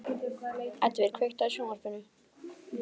Edvin, kveiktu á sjónvarpinu.